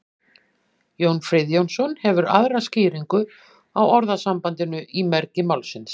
jón friðjónsson hefur aðra skýringu á orðasambandinu í mergi málsins